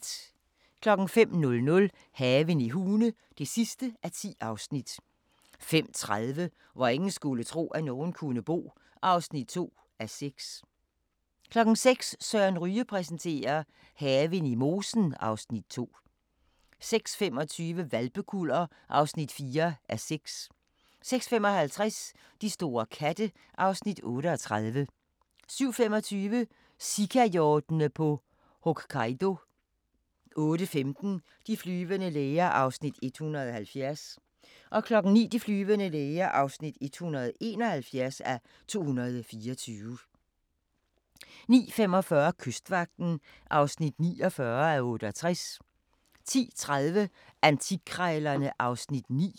05:00: Haven i Hune (10:10) 05:30: Hvor ingen skulle tro, at nogen kunne bo (2:6) 06:00: Søren Ryge præsenterer: Haven i mosen (Afs. 2) 06:25: Hvalpekuller (4:6) 06:55: De store katte (Afs. 38) 07:25: Sikahjortene på Hokkaido 08:15: De flyvende læger (170:224) 09:00: De flyvende læger (171:224) 09:45: Kystvagten (49:68) 10:30: Antikkrejlerne (Afs. 9)